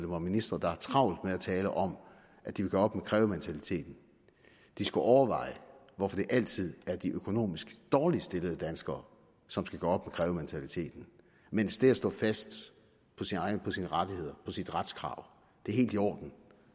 og ministre der har travlt med at tale om at de vil gøre op med krævementaliteten skulle overveje hvorfor det altid er de økonomisk dårligt stillede danskere som skal gøre op krævementaliteten mens det at stå fast på sine rettigheder på sit retskrav er helt i orden